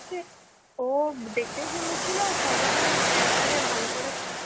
ও হচ্ছে, ও দেখতে সুন্দর ছিলো, আর সব রকম character এ ভালো করে